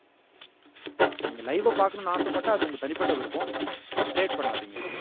நீங்க லைவ்வா பாக்கணும்னு ஆசைப்பட்டா அது உங்க தனிப்பட்ட விருப்பம் but trade பண்ணாதீங்க